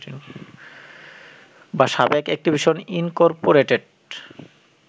বা সাবেক Activision Incorporated